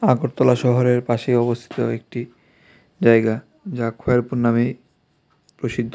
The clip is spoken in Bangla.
আগরতলা শহরের পাশে অবস্থিত একটি জায়গা যা খয়েরপুর নামে প্রসিদ্ধ.